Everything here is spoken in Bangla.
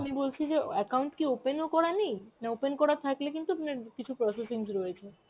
আমি বলছি যে account কি open ও করা নেই? না open করা থাকলে কিন্তু আপনার কিছু processings রয়েছে.